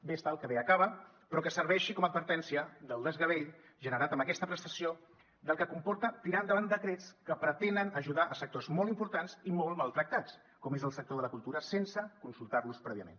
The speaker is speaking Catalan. bé està el que acaba però que serveixi com a advertència del desgavell generat amb aquesta prestació del que comporta tirar endavant decrets que pretenen ajudar sectors molt importants i molt maltractats com és el sector de la cultura sense consultar los prèviament